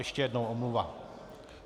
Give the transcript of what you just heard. Ještě jednou omluva.